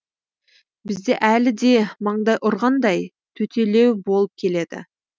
бізде әлі де маңдай ұрғандай төтелеу болып келеді